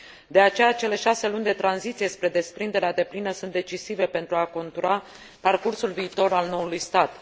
De aceea, cele șase luni de tranziție spre desprinderea deplină sunt decisive pentru a contura parcursul viitor al noului stat.